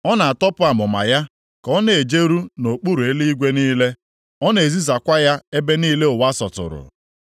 Ọ na-atọpụ amụma ya ka ọ na-ejeru nʼokpuru eluigwe niile, ọ na-ezisakwa ya ebe niile ụwa sọtụrụ.